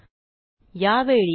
Newton चा शीतलीकरणाचा नियम